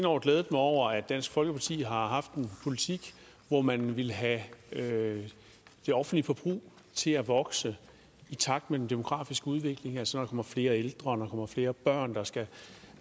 år glædet mig over at dansk folkeparti har haft en politik hvor man vil have det offentlige forbrug til at vokse i takt med den demografiske udvikling altså kommer flere ældre og flere børn der skal